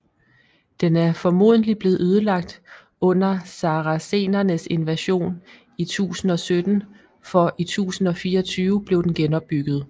Den er formodentligt blevet ødelagt under saracenernes invasion i 1017 for i 1024 blev den genopbygget